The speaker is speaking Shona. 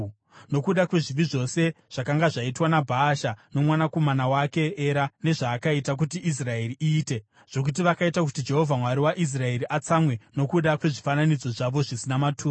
nokuda kwezvivi zvose zvakanga zvaitwa naBhaasha nomwanakomana wake Era nezvaakaita kuti Israeri iite, zvokuti vakaita kuti Jehovha, Mwari waIsraeri, atsamwe, nokuda kwezvifananidzo zvavo zvisina maturo.